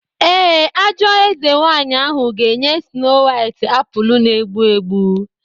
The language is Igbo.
Ee, ajọ eze nwanyị ahụ ga-enye Snow White apụl na-egbu egbu.